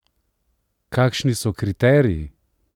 Kakšni so kriteriji?